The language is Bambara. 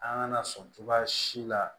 An kana sɔn cogoya si la